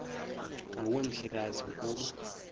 nguwe mhlekazi ukuba